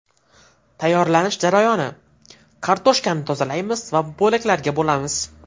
Tayyorlanish jarayoni: Kartoshkani tozalaymiz va bo‘laklarga bo‘lamiz.